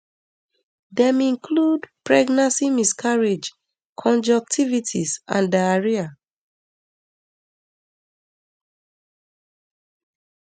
dem include pregnancy miscarriage conjunctivitis and diarrhoea